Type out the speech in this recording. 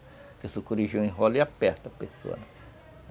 Porque sucuri já enrola e aperta a pessoa.